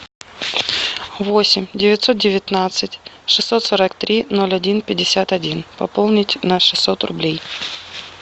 восемь девятьсот девятнадцать шестьсот сорок три ноль один пятьдесят один пополнить на шестьсот рублей